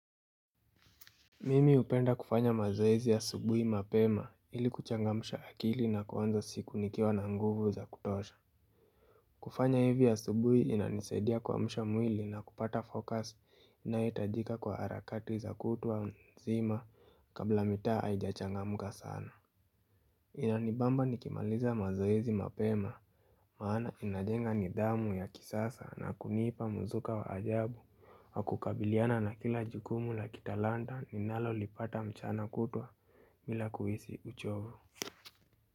Mimi hupenda kufanya mazoezi ya asubuhi mapema ili kuchangamsha akili na kuanza siku nikiwa na nguvu za kutosha kufanya hivi asubuhi inanisaidia kuamsha mwili na kupata fokasi inayohitajika kwa harakati za kutwa nzima kabla mitaa haijachangamka sana Inanibamba nikimaliza mazoezi mapema maana inajenga nidhamu ya kisasa na kunipa mzuka wa ajabu Hakukabiliana na kila jukumu la kitalanta ninalolipata mchana kutwa bila kuhisi uchovu.